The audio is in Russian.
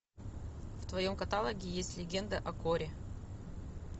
в твоем каталоге есть легенда о корре